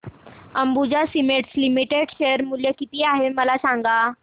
Ambuja cements limited share मूल्य किती आहे मला सांगा